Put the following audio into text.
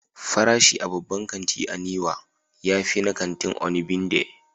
Farashin a babban kanti na Niwa ya fi na kantin Onigbinde.